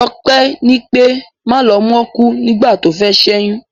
Joké ní pé, Malomó kúú nígbà tófé s'éyún.